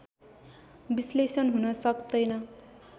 विश्लेषण हुन सक्तैन